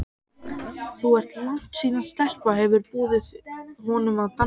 Það er langt síðan stelpa hefur boðið honum að dansa.